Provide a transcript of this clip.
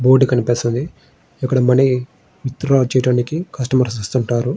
Board కనిపిస్తాది. ఇక్కడ money withdraw చెయ్యడానికి కస్టమర్స్ వస్తుంటారు.